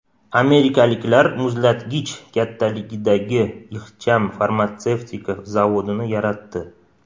Amerikaliklar muzlatgich kattaligidagi ixcham farmatsevtika zavodini yaratdi.